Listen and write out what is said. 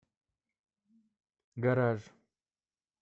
гараж